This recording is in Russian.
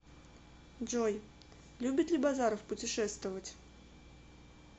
джой любит ли базаров путешествовать